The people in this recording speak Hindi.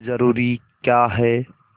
जरूरी क्या है